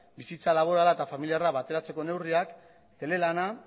bizitza laborala eta familiarra bateratzeko neurriak telelana